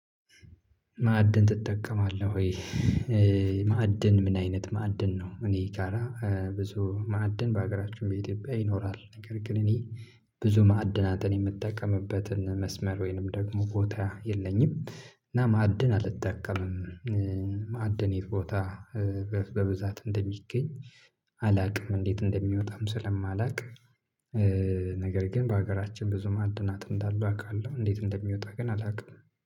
ማዕድን ትጠቀማለህ ወይ? ማዕድን ምን አይነት ማዕድን ነው? እኔ ጋራ ብዙ ማዕድን በሀገራችን በኢትዮጵያ ይኖራል ነገር ግን እኔ ብዙ ማዕድናትን የምጠቀምበትን መስመር ወይንም ደግሞ ቦታ የለኝም እና ማዕድን አልጠቀምም። ማዕድን የት ቦታ? በብዛት እንደሚገኝ አላውቅም። እንዴት እንደሚወጣም ስለማላውቅ ነገር ግን በሀገራችን ብዙ ማዕድናት እንዳሉ አውቃለሁ። እንዴት እንደሚወጣ ግን አላውቅም